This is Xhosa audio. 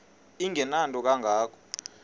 engenanto kanga ko